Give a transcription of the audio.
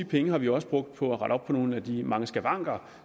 pengene har vi også brugt på at rette op på nogle af de mange skavanker